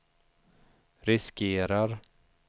riskerar